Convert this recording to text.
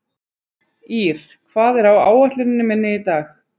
Ír, hvað er á áætluninni minni í dag?